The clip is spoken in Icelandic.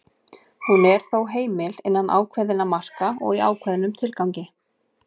hún er þó heimil innan ákveðinna marka og í ákveðnum tilgangi